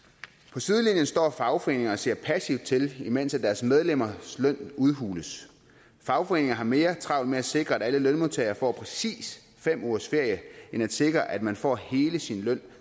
på sidelinjen står fagforeningerne og ser passivt til imens deres medlemmers løn udhules fagforeningerne har mere travlt med at sikre at alle lønmodtagere får præcis fem ugers ferie end at sikre at man får hele sin løn